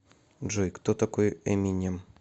джой кто такой эминем